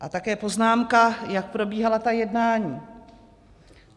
A také poznámka, jak probíhala ta jednání.